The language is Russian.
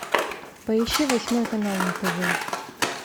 поищи восьмой канал на тв